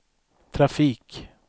trafik